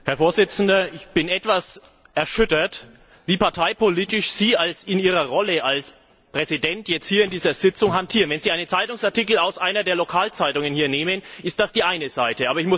Herr Präsident! Ich bin etwas erschüttert, wie parteipolitisch Sie in Ihrer Rolle als Präsident jetzt hier in dieser Sitzung hantieren. Wenn Sie einen Zeitungsartikel aus einer der Lokalzeitungen hier nehmen, ist das die eine Seite.